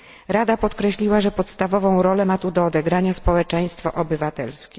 Rada podkreśliła, że podstawową rolę ma tu do odegrania społeczeństwo obywatelskie.